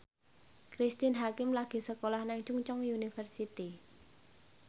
Cristine Hakim lagi sekolah nang Chungceong University